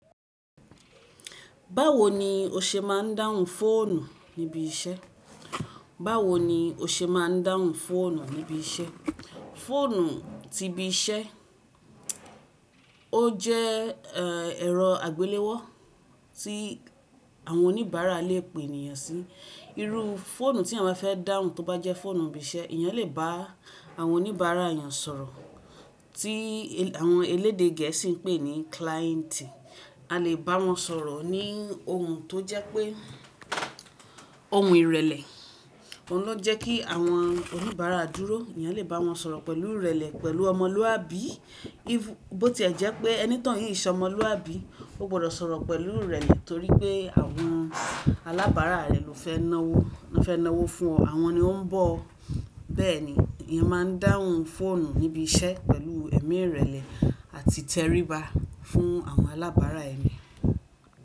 Báwo ni o ṣe máa ń dáhùn fóònù níbi iṣẹ́? Fóònù ni ìbí isé, fóònù ti ibi iṣẹ́ ó jẹ́ ẹ̀rọ àgbéléwó tí àwọn oníbàárà lè pè ènìyàn sí. Irú fóònù tí àwọn fẹ́ dáhùn tó bá jẹ́ fóònù ibi iṣẹ́, èèyàn lè bá àwọn oníbàárà èèyàn sọ̀rọ̀ tí àwọn elédè gẹ̀ẹ́sì ń pè ní kláìntì. A lè bá wọn sọ̀rọ̀ ní ohun tó jẹ́ pé ohun ìrẹ̀lẹ̀, òun ló jẹ́ kí àwọn oníbàárà dúró. Ẹ̀yàn lè bá wọn sọ̀rọ̀ pẹ̀lú ìrẹ̀lẹ̀ pẹ̀lú ọmọlúàbí bó tí ẹ́ jẹ́ pé ẹni tí wọ́n ń sọ ọmọlúàbí, o gbọdọ̀ sọ̀rọ̀ pẹ̀lú ìrẹ̀lẹ̀ torí pé àwọn alábàárà rẹ̀ ló fẹ́ náwó fún ọ, àwọn ni ó ń bọ̀. Bẹ́ẹ̀ ni, ẹ̀yàn má ń dáhùn fóònù níbi iṣẹ́ pẹ̀lú ẹ̀mí ìrẹ̀lẹ̀ àti tẹríba fún àwọn alábàárà ẹ̀ní.